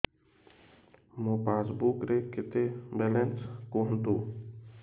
ମୋ ପାସବୁକ୍ ରେ କେତେ ବାଲାନ୍ସ କୁହନ୍ତୁ